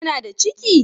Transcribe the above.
Ta na da ciki?